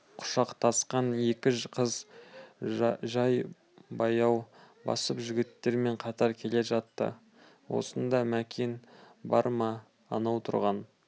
құшақтасқан екі қыз жай баяу басып жігіттермен қатар келе жатты осында мәкен бар ма анау тұрған